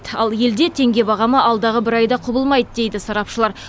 ал елде теңге бағамы алдағы бір айда құбылмайды дейді сарапшылар